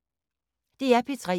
DR P3